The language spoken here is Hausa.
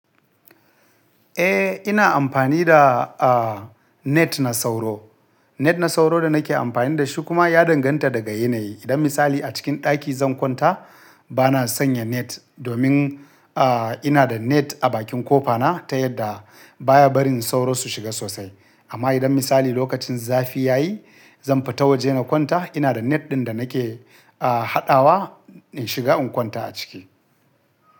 Eh, ina amfani da, ah, net na sauro. Net na sauro da nake amfani da shi kuma ya danganta daga yanayi. Idon misali a cikin ɗaki zan kwanta bana sanya net domin, ah, ina da net a bakin ƙofa na ta yadda baya barin sauro su shiga sosai. Amma idon misali lokacin zafi ya yi zan fita waje na kwanta ina da net ɗin da nake, ah, haɗawa in shiga in kwanta a ciki.